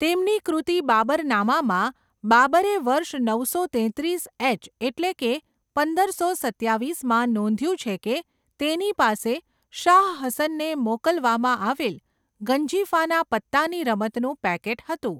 તેમની કૃતિ બાબરનામામાં, બાબરે વર્ષ નવસો તેત્રીસ એચ એટલે કે પંદરસો સત્યાવીસમાં નોંધ્યું છે કે તેની પાસે શાહ હસનને મોકલવામાં આવેલ ગંજીફાના પત્તાની રમતનું પેકેટ હતું.